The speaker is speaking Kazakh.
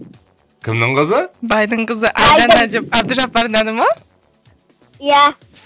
кімнің қызы байдың қызы айдана деп әбдіжаппардың әні ма иә